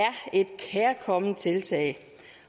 et kærkomment tiltag